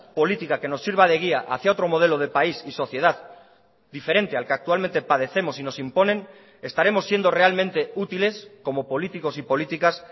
política que nos sirva de guía hacia otro modelo de país y sociedad diferente al que actualmente padecemos y nos imponen estaremos siendo realmente útiles como políticos y políticas